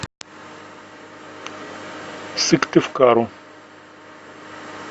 сыктывкару